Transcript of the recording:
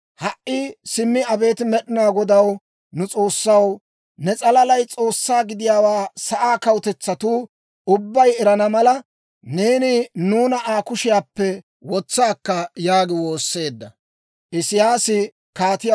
Ha"i simmi abeet Med'inaa Godaw, nu S'oossaw, ne s'alalay S'oossaa gidiyaawaa sa'aa kawutetsatuu ubbay erana mala, neeni nuuna Aa kushiyaappe wotsa akka!» yaagi woosseedda.